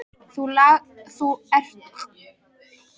Ertu lagstur í kör Jón biskup Arason?